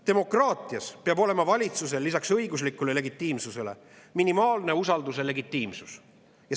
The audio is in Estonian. Demokraatias peab olema valitsusel lisaks õiguslikule legitiimsusele minimaalne usalduse legitiimsus.